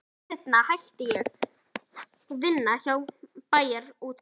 Skömmu seinna hætti ég vinnu hjá Bæjarútgerðinni.